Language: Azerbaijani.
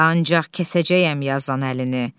Ancaq kəsəcəyəm yazan əlini.